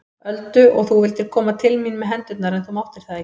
Öldu og þú vildir koma til mín með hendurnar en þú máttir það ekki.